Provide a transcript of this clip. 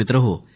मित्रांनो